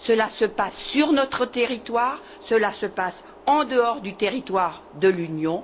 Cela se passe sur notre territoire et en dehors du territoire de l'Union.